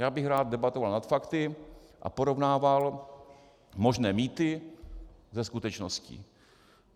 Já bych rád debatoval nad fakty a porovnával možné mýty se skutečností.